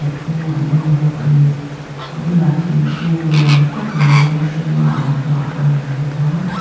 thum a ding bawk ani a bulah thingkung lian tak mai rawng hringa an kah a lang bawk a.